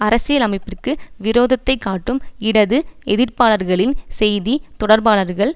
அரசியலமைப்பிற்கு விரோதத்தைக்காட்டும் இடது எதிர்ப்பாளர்களின் செய்தி தொடர்பாளர்கள்